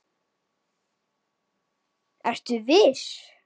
SKÚLI: Ertu viss?